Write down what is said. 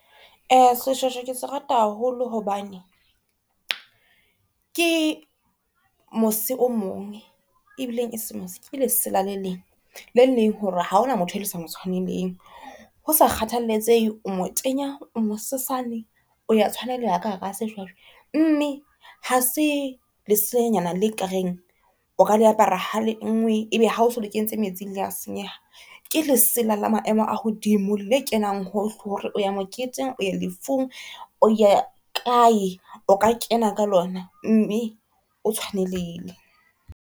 Seshweshwe ke se rata haholo hobane ke mose o mong e bileng ha se mose ke le sela, le leng lele leng hore ha hona motho e le sa motshwaneleng hosa kgathaletsehe, o mo tenya, o mo sesane, o ya tshwaneleha ka hara seshweshwe. Mme ha se leselanyana le ka reng o ka le apara ha le nngwe, ebe hao so le kentse metsing le a senyeha. Ke lesela le maemo a hodimo le kenang hohle hore o ya moketeng o ya lefung, o ya kae. O ka kena ka lona mme o tshwaneleile.